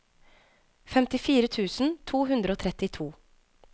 femtifire tusen to hundre og trettito